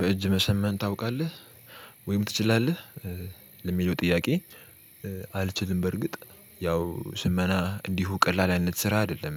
በእጅ መሰመን ታውቃለህ ወይም ትችላለህ? ለሚለው ጥያቄ አልችልም በርግጥ ያው ስመና እንዲሁ ቀላል አይነት ስራ አይደለም